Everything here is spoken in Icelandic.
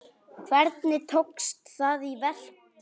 Hvernig tókst það í verki?